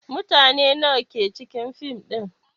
Mutane nawa ke cikin fim din?